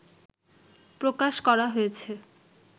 প্রকাশ করা হয়েছে